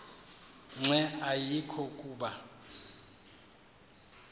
nqe ayekho kuba